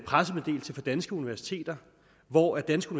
pressemeddelelse fra danske universiteter hvor danske